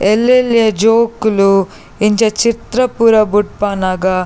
ಎಲ್ಲೆಲ್ಲ್ಯ ಜೋಕುಲು ಇಂಚ ಚಿತ್ರ ಪೂರ ಬುಡ್ಪನಗ--